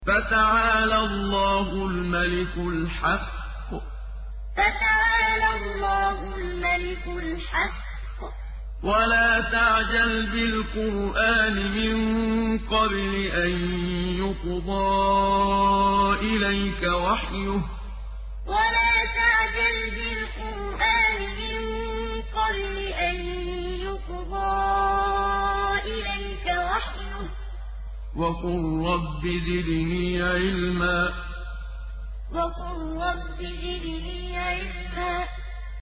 فَتَعَالَى اللَّهُ الْمَلِكُ الْحَقُّ ۗ وَلَا تَعْجَلْ بِالْقُرْآنِ مِن قَبْلِ أَن يُقْضَىٰ إِلَيْكَ وَحْيُهُ ۖ وَقُل رَّبِّ زِدْنِي عِلْمًا فَتَعَالَى اللَّهُ الْمَلِكُ الْحَقُّ ۗ وَلَا تَعْجَلْ بِالْقُرْآنِ مِن قَبْلِ أَن يُقْضَىٰ إِلَيْكَ وَحْيُهُ ۖ وَقُل رَّبِّ زِدْنِي عِلْمًا